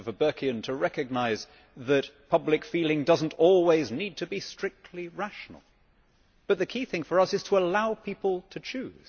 I am enough of a Burkean to recognise that public feeling does not always need to be strictly rational, but the key thing for us is to allow people to choose.